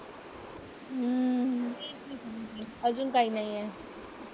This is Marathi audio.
अजून काय नाही आहे.